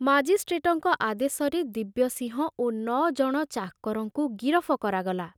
ମାଜିଷ୍ଟ୍ରେଟଙ୍କ ଆଦେଶରେ ଦିବ୍ୟସିଂହ ଓ ନ ଜଣ ଚାକରଙ୍କୁ ଗିରଫ କରାଗଲା।